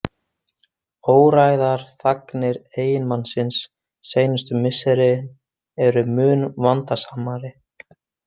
Óræðar þagnir eiginmannsins seinustu misserin eru mun vandasamari.